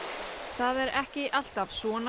það er ekki alltaf svona